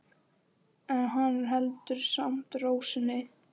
En hann heldur samt ró sinni.